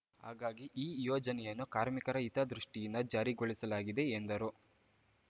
ಹಾಗಾಗಿ ಈ ಯೋಜನೆಯನ್ನು ಕಾರ್ಮಿಕರ ಹಿತದೃಷ್ಟಿಯಿಂದ ಜಾರಿಗೊಳಿಸಲಾಗಿದೆ ಎಂದರು